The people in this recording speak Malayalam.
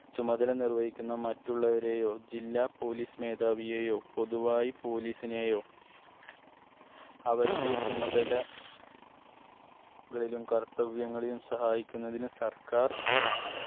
ചുമതല നിർവഹിക്കുന്ന മറ്റുള്ളവരെയോ ജില്ലാ police മേധാവിയെയോ പൊതുവായി police നേയോ അവരുടെ ചുമതല കാലിലും കർത്തവ്യങ്ങളിലും സഹായിക്കുന്നതിന് സർക്കാർ